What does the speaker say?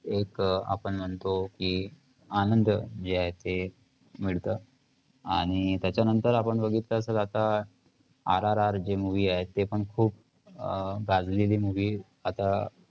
एक आपण म्हणतो की, आनंद जे आहे ते मिळतं. आणि त्याच्यानंतर आपण बघितलं असंल आता RRR जे movie आहे त्याचे पण खूप अं गाजलेली movie आता